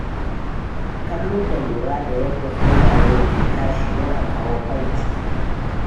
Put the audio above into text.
Kallo da lura da yadda tsuntsaye ke tashi yana kawo farin ciki.